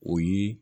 O ye